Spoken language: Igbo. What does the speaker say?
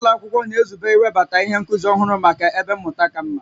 Ụlọ akwụkwọ na-ezube iwebata ihe nkuzi ọhụrụ maka ebe mmụta ka mma